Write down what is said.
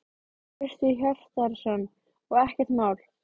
Hjörtur Hjartarson: Og ekkert mál?